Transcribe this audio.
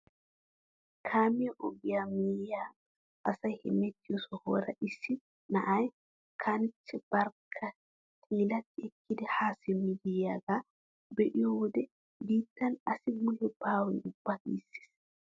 Kaamiyaa ogiyaa miyiyaan asay hemettiyoo sohuwaara issi na'aa kanchchee barkka xiilati ekkidi haa simmidi yiyaagaa be'iyoo wode biittan asi mule baawe ubba giisses!